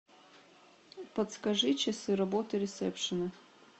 подскажи часы работы ресепшена